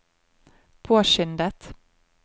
påskyndet